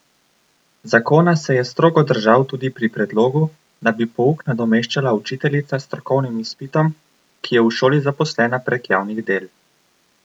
Zakona se je strogo držal tudi pri predlogu, da bi pouk nadomeščala učiteljica s strokovnim izpitom, ki je v šoli zaposlena prek javnih del.